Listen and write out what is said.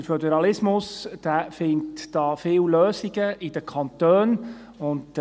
Der Föderalismus findet viele Lösungen in den Kantonen.